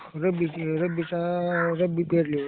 रब्बीचं, रब्बीचा रब्बी पेरल्यावर.